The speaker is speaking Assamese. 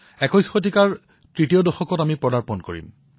একবিংশ শতিকাৰ তৃতীয়টো দশকত প্ৰৱেশ কৰিম